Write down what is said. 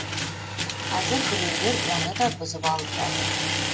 қазір біреулер оны да бұзып алып жатыр